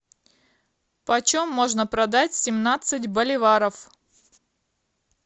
почем можно продать семнадцать боливаров